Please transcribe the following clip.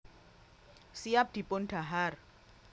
Siap dipun dhahar